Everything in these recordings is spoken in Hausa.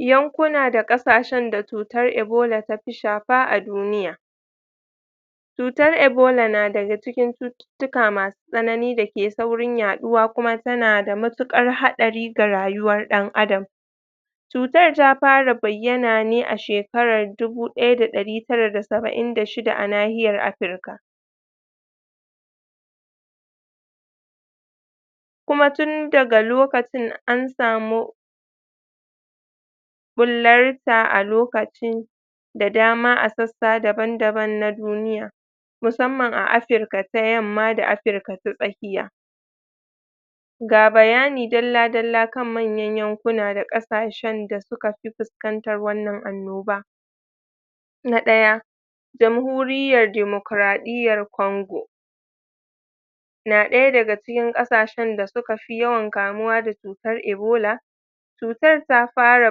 Yankuna da ƙasashen da chutar ebola ta pi shapa a duniya chutar ebola na daga cikin chututtuka masu tsanani da ke saurin yaɗuwa kuma suna da mattuƙar haɗari da rayuwar ɗan adam chutar ta para bayyana ne a shekarar dubu ɗaya da ɗari tara da saba'in da shida a nahiyar afrika kuma tun daga lokacin an samu ɓullarta a lokacin da dama a sassa daban daban na duniya musamman a afrika ta yamma da afrika ta tsakiya ga bayani dalla dalla kan manyan yankuna da ƙasashen da suka fi fuskantan wannan annoba na ɗaya jamhuriyyan damokaraɗiyar kongo na ɗaya daga cikin ƙasashen da suka fi yawan kamuwa da chutar ebola chutar ta fara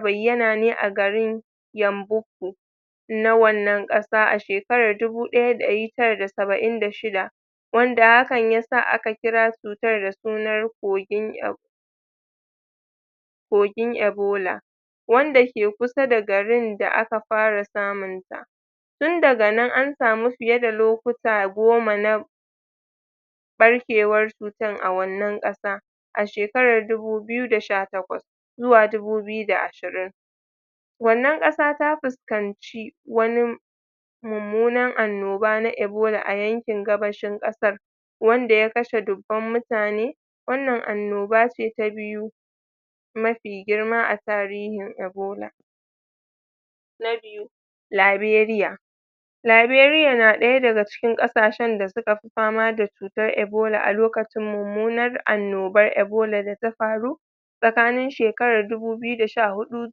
bayyana ne a garin yanboku na wannan ƙasa a shekarar dubu ɗaya da ɗari tara da saba'in da shida wanda hakan yasa aka kira su kogin ebola wanda ke kusa da garin da aka fara samun ta tun daga nan an samu fiye da lokuta goma na ɓarkewar chutan a wannan kasa a shekarar dubu biyu da sha takwas zuwa dubu biyu da ashirin wannan ƙasa ta puskanci wani mummunan annoba na ebola a yankin gabashin ƙasar wanda ya kashe dubban mutane wannan annoba ce ta biyu mafi girma a tarihin ebola na biyu, liberiya liberiya na ɗaya daga cikin ƙasashen da suka fi fama da chutar ebola a lokacin mu, mu na annoban ebola da ta paru tsakanin shekarar dubu biyu da sha huɗu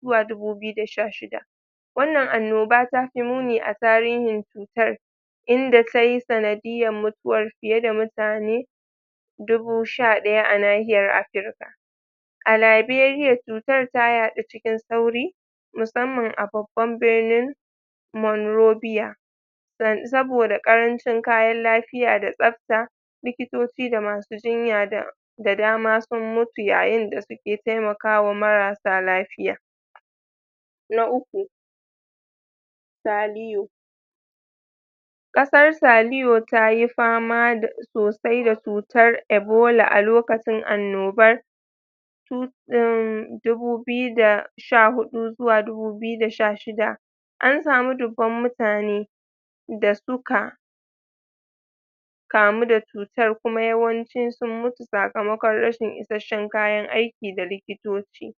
zuwa dubu biyu da sha shida wannan annoba ta fi muni a tarihin chutar, inda ta yi sanadiya mutuwar fiye da mutane dubu sha ɗaya a nahiyar afrika a liberiya chutar ta yaɗu cikin saurin, musamman a babban birnin monrobiya saboda ƙarancin kayan lapiya da tsapta likitoci da masu jinya da dama sun mutu yayin da suke taimakawa marasa lafiya na uku, saliyo ƙasar saliyo ta yi fama sosai da chutar ebola a lokacin annobar um dubu biyu da sha huɗu zuwa dubu biyu da sha shida, an samu dubban mutane da suka kamu da chutar kuma yawanci sun mutu sakamakon rashin issashen kayan aiki da likitoci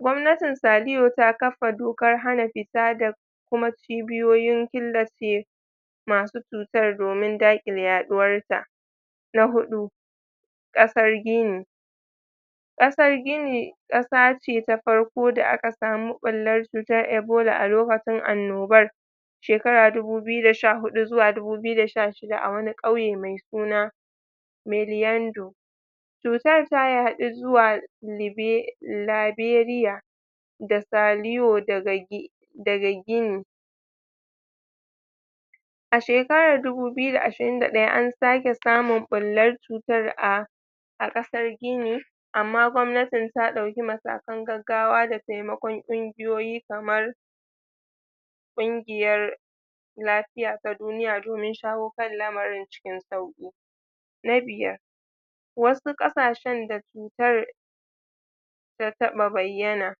gwamnatin saliyo ta kafa dokar hana fita da kuma cibiyoyin masu chutan domin daƙile yaɗuwar ta na huɗu, ƙasar gini ƙasar gini ƙasa ce ta farko da aka samu ɓullar chutar ebola a lokacin annobar shekara dubu biyu da sha huɗu zuwa dubu biyu da sha shida a wani ƙauye mai suna miliyando chutar ta yaɗu zuwa um liberiya da saliyo, daga gini a shekarar dubu biyu da ashirin da ɗaya an sake samu ɓullar chutar a a ƙasar gini amma gwamnatin ta ɗauki matakan gaggawa da taimakon ƙungiyoyi kamar ƙungiyar lafiya ta duniya domin shawo kan lamarin cikin sauƙi na biyar, wasu ƙasashen da chutar ta taɓa bayyana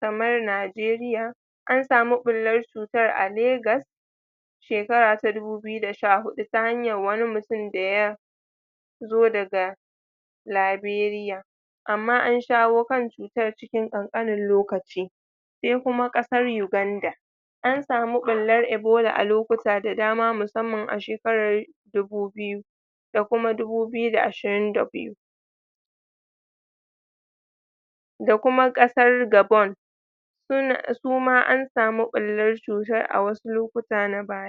kamar nijeriya, an samu ɓullar chutan a lagos shekara ta dubu biyu da sha huɗu ta hanyar wani mutum da ya zo daga liberiya amma an shawo kan shi ta cikin ƙanƙanin lokaci sai kuma ƙasar yuganda an samu ɓullar ebola a lokuta da dama musamman a shekarar dubu biyu da kuma dubu biyu da ashirin da biyu da kuma ƙasar gabon su ma an samu ɓullar chutar a wasu lokuta na baya.